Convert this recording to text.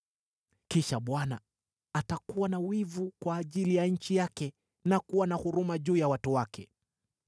Kisha Bwana atakuwa na wivu kwa ajili ya nchi yake na kuwa na huruma juu ya watu wake.